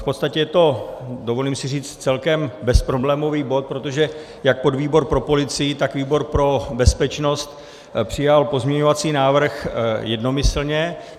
V podstatě je to, dovolím si říct, celkem bezproblémový bod, protože jak podvýbor pro policii, tak výbor pro bezpečnost přijal pozměňovací návrh jednomyslně.